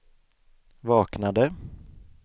vaknade